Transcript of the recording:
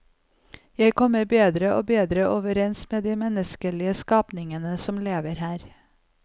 Jeg kommer bedre og bedre overens med de menneskelige skapningene som lever her.